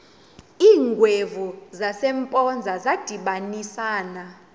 iingwevu zasempoza zadibanisana